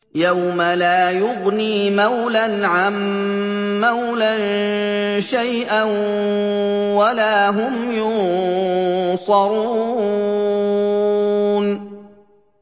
يَوْمَ لَا يُغْنِي مَوْلًى عَن مَّوْلًى شَيْئًا وَلَا هُمْ يُنصَرُونَ